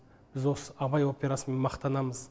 біз осы абай операсымен мақтанамыз